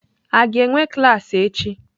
A ga-enwe klaasị echi?